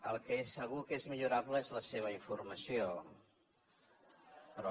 el que és segur que és millorable és la seva informació però